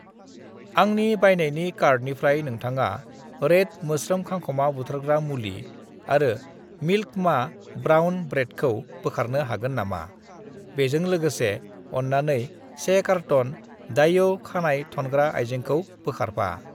"आंनि बायनायनि कार्टनिफ्राय नोंथाङा रैद मोस्रोम-खांखमा बुथारग्रा मुलि आरो मिल्क मा ब्राउन ब्रेडखौ बोखारनो हागोन नामा? बेजों लोगोसे, अन्नानै 1 कारट'न दायऔ खानाय थनग्रा आयजेंखौ बोखारफा।"